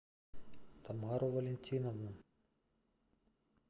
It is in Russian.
тамару валентиновну